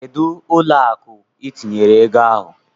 Kedụ ụlọ akụ itinyere ego ahụ?